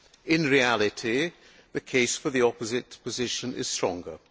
In reality the case for the opposite position is stronger.